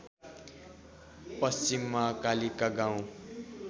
पश्चिममा कालिका गाउँ